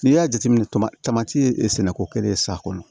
N'i y'a jateminɛ tamati e sɛnɛko kelen ye sa kɔnɔ